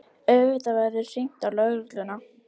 Auðvitað verður hringt á lögregluna.